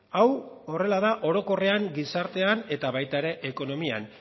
hau horrela da orokorrean gizartean eta baita ekonomian